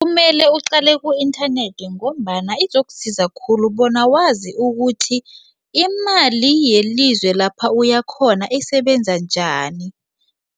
Kumele uqale ku-inthanethi ngombana izokusiza khulu bona wazi ukuthi imali yelizwe lapha uyakhona isebenza njani.